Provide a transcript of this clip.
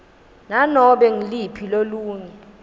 nanobe nguluphi lolunye